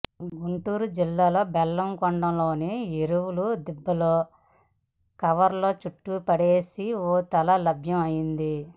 గుంటూరు జిల్లా బెల్లంకొండలోని ఎరువుల దిబ్బలో కవర్లో చుట్టి పడేసిన ఓ తల లభ్యం అయింది